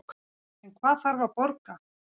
En hvað þarf að borga